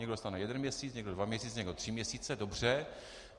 Někdo dostane jeden měsíc, někdo dva měsíce, někdo tři měsíce - dobře.